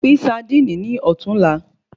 Pín saandíìnì ní ọ̀tún là